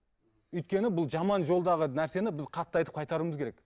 өйткені бұл жаман жолдағы нәрсені біз қатты айтып қайтаруымыз керек